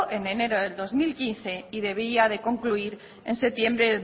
en enero de dos mil quince y debía de concluir en septiembre